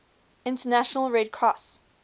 international red cross